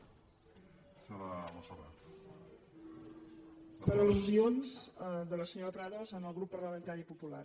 per al·lusions de la senyora prados al grup parlamentari popular